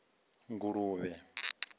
nguluvhe